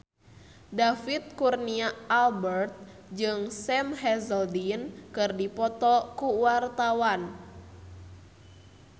David Kurnia Albert jeung Sam Hazeldine keur dipoto ku wartawan